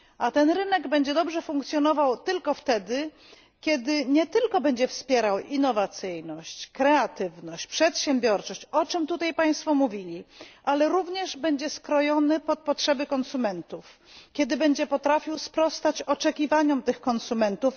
A ten rynek będzie dobrze funkcjonował tylko wtedy, kiedy nie tylko będzie wspierał innowacyjność, kreatywność, przedsiębiorczość o czym tutaj Państwo mówili ale również będzie skrojony pod potrzeby konsumentów, kiedy będzie potrafił sprostać oczekiwaniom tych konsumentów.